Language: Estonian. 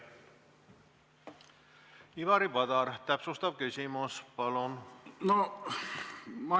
Ivari Padar, täpsustav küsimus, palun!